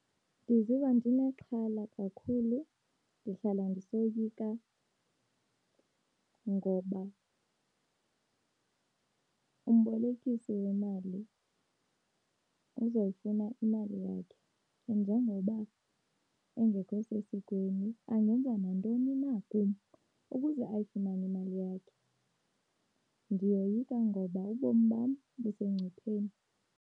Ndiziva ndinexhala kakhulu ndihlala zisoyika ngoba umbolekisi wemali, uzoyifuna imali yakhe. Njengoba, engekho sesikweni angenza nantoni na kum ukuze ayifumani imali yakhe. Ndiyoyika ngoba ubomi bam busengcupheni.